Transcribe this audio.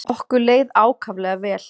Okkur leið ákaflega vel.